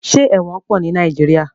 Ṣé ẹ̀wọ̀n pọ̀ ní Nàìjíríà?